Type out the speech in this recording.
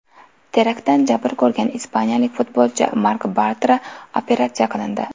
Teraktdan jabr ko‘rgan ispaniyalik futbolchi Mark Bartra operatsiya qilindi.